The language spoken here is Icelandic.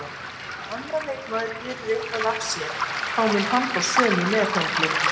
Ef annar leikmaður gerir eitthvað af sér þá mun hann fá sömu meðhöndlun